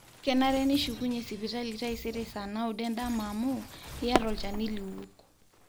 kenare nishukunye sipitali taisere saa naudo endama amu iyata olchani liwok